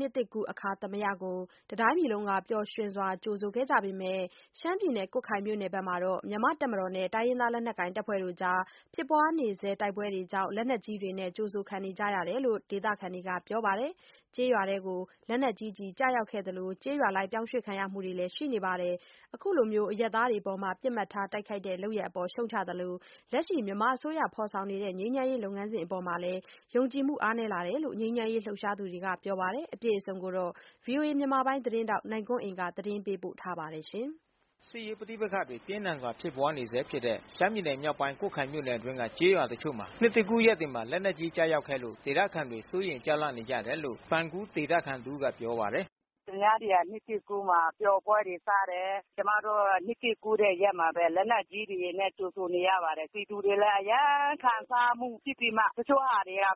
နှစ်သစ်ကူးအခါသာမယကို တပြည်လုံးကပျော်ရွှင်စွာ ကြိုဆိုခဲ့ပေမဲ့ ရှမ်းပြည်နယ်၊ ကွတ်ခိုင်မြို့နယ်ဘက်မှာတော့ မြန်မာ့တပ်မတော်နဲ့ တိုင်းရင်းသားလက်နက်တပ်ဖွဲ့တွေနဲ့ဖြစ်ပွါးနေဆဲ တိုက်ပွဲကြောင့် လက်နက်ကြီးတွေနဲ့ကြိုဆိုခံနေ ကြရတယ်လို့ ဒေသခံတွေကပြောပါတယ်။ ကျေးရွာအတွင်း လက်နက်ကြီးကျည်ကျရောက်ခဲ့သလို ကျေးရွာပြောင်းရွှေ့ခံ ရမှုတွေလည်း ရှိနေပါတယ်။ အခုလိုအရပ်သားတွေအပေါ် ပစ်မှတ်ထား တိုက်ခိုက်တဲ့လုပ်ရပ်အပေါ် ရှုံ့ချသလို လက်ရှိ မြန်မာအစိုးရကနေဖေါ်ဆောင်နေတဲ့ ငြိမ်းချမ်းရေးလုပ်ငန်းစဉ် အပေါ်မှာ ယုံကြည်မှုအားနည်းလာတယ်လို့ ငြိမ်းချမ်းရေး လှုပ်ရှားသူတွေကပြောပါတယ်။ ဗွီအိုအေမြန်မာပိုင်း သတင်းထောက်နိုင်ကွန်းအိန်ကနေ အခုလိုသတင်းပေးပို့ထားပါတယ်။ စစ်ရေးပဋိပက္ခတွေပြင်းထန်စွာဖြစ်ပွါးနေဆဲဖြစ်တဲ့ရှမ်းပြည်နယ်မြောက်ပိုင်း ကွတ်ခိုင်မြို့နယ်အတွင်းက ကျေးရွာတချို့မှာ နှစ်သစ်ကူးရက်မှာ လက်နက်ကြီးကျရောက်ခဲ့လို့ ဒေသခံတွေ စိုးရိမ်ကြောက်လန့် နေကြတယ်လို့ ပန်ကူးဒေသခံတဦးက ပြောပါတယ်။ “သူများတွေက နှစ်သစ်ကူးမှာ ပျော်ပွဲတွေစားတယ်။ ကျမတို့က နှစ်သစ်ကူးတဲ့ရက်မှာပဲ လက်နက်ကြီးတွေနဲ့ ကြိုဆိုနေရပါတယ်။ ပြည်သူတွေလည်း အရမ်းခံစားမှုဖြစ်ပြီးမှ တချို့တွေလည်း အသည်းအသ